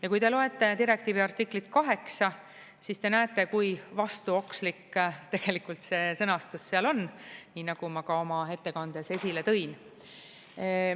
Ja kui te loete direktiivi artiklit 8, siis te näete, kui vastuokslik tegelikult see sõnastus seal on, nii nagu ma ka oma ettekandes esile tõin.